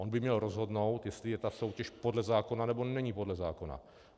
On by měl rozhodnout, jestli je ta soutěž podle zákona, nebo není podle zákona.